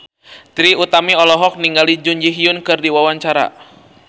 Trie Utami olohok ningali Jun Ji Hyun keur diwawancara